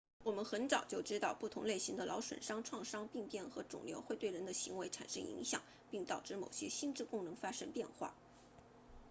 我们很早就知道不同类型的脑损伤创伤病变和肿瘤会对人的行为产生影响并导致某些心智功能发生变化